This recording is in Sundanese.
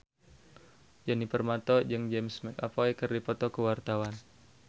Djoni Permato jeung James McAvoy keur dipoto ku wartawan